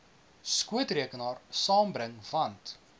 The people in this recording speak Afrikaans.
skootrekenaar saambring want